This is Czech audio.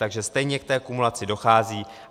Takže stejně k té kumulaci dochází.